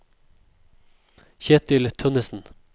Ketil Tønnessen